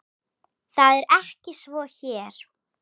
Það er ekki svo hér.